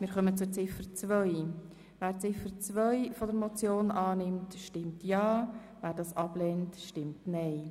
Wer Ziffer 2 der Motion annimmt, stimmt ja, wer das ablehnt, stimmt nein.